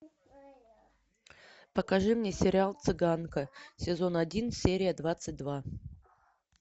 покажи мне сериал цыганка сезон один серия двадцать два